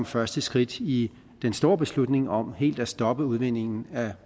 første skridt i den store beslutning om helt at stoppe udvindingen af